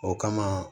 O kama